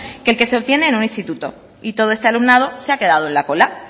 que el que se obtiene en un instituto y todo este alumnado se ha quedado en la cola